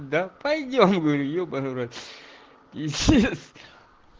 да пойдём говорю ебанный в рот